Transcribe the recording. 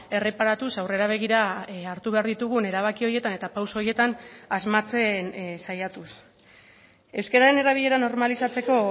erreparatuz aurrera begira hartu behar ditugun erabaki horietan eta pauso horietan asmatzen saiatuz euskararen erabilera normalizatzeko